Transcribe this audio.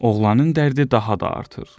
Oğlanın dərdi daha da artır.